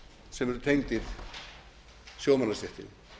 sem eru tengdir sjómannastéttinni